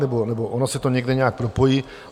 Nebo ono se to někde nějak propojí?